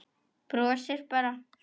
Brosir bara.